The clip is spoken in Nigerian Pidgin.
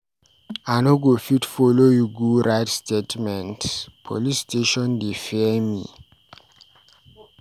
I no go fit follow you go write statement, police station dey fear me.